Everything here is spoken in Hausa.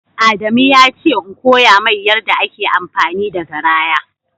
Adamu yace in koya mai yarɗa ake amfani da garaya